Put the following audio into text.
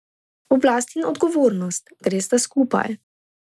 Oblast in odgovornost gresta skupaj.